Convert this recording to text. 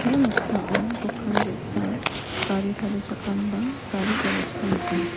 ia noksao dokan ge·sa gari tarichakram ba gari garage-ko nika.